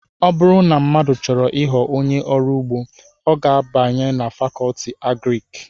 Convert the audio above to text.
ọ bụrụ na mmadụ chọrọ ịghọ onye ọrụ ugbo ọ ga abanye na Fakọọti Agrịki